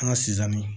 An ka si sanni